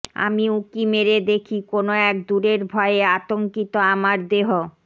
আমি উঁকি মেরে দেখি কোনো এক দূরের ভয়ে আতঙ্কিত আমার দেহ